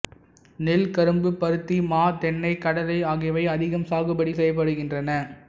நெல் கரும்பு பருத்தி மா தென்னை கடலை ஆகியவை அதிகம் சாகுபடி செய்யப்படுகின்றன